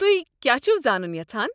تُہۍ کیٛاہ چھو زانُن یژھان؟